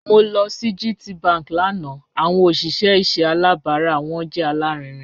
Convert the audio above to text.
Mo lọ sí GTBank lánà awọn ọṣìṣẹ̀ ìṣẹ̀ àlàbárà wọn jẹ́ alárìínińfín.